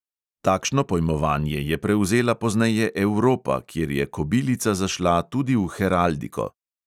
Takšno pojmovanje je prevzela pozneje evropa, kjer je kobilica zašla tudi v heraldiko.